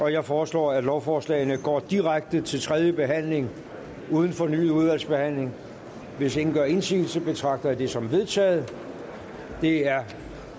jeg foreslår at lovforslagene går direkte til tredje behandling uden fornyet udvalgsbehandling hvis ingen gør indsigelse betragter jeg dette som vedtaget det er